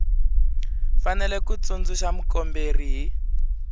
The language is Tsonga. fanele ku tsundzuxa mukomberi hi